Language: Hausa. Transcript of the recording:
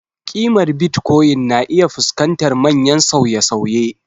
Ƙimar Bitcoin na iya fuskantar manyan sauye-sauye.